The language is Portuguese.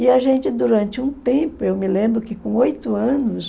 E a gente, durante um tempo, eu me lembro que com oito anos,